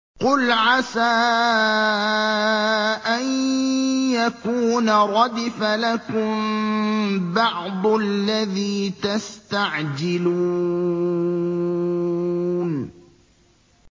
قُلْ عَسَىٰ أَن يَكُونَ رَدِفَ لَكُم بَعْضُ الَّذِي تَسْتَعْجِلُونَ